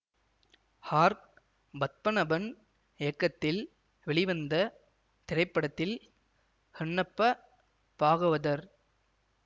R Padmanabhan இயக்கத்தில் வெளிவந்த திரைப்படத்தில் ஹன்னப்ப பாகவதர்